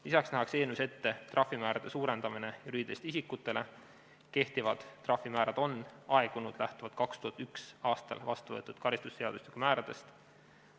Lisaks nähakse eelnõus ette juriidiliste isikute trahvimäärade suurendamine, kehtivad trahvimäärad on aegunud lähtuvalt 2001. aastal vastu võetud karistusseadustiku määradest.